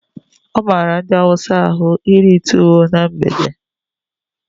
Ọ mara ndị hausa ahụ iri tuwo na mgbede